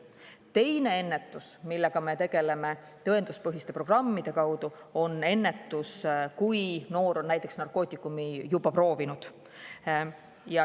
Teine ennetus, millega me tegeleme tõenduspõhiste programmide kaudu, on, kui noor on narkootikumi juba proovinud.